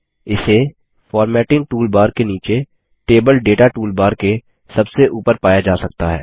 इसे formatting toolbar के नीचे टेबल डेटा टूलबार के सबसे ऊपर पाया जा सकता है